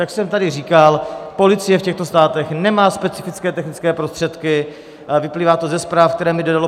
Jak jsem tady říkal, policie v těchto státech nemá specifické technické prostředky, vyplývá to ze zpráv, které mi dalo